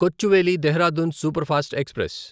Kochuveli Dehradun superfast express